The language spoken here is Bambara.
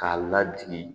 K'a ladege